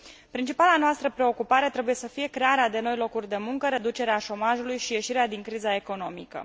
Principala noastră preocupare trebuie să fie crearea de noi locuri de muncă, reducerea șomajului și ieșirea din criza economică.